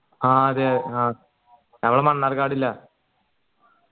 ആ അതെ ന മണ്ണാർകാടില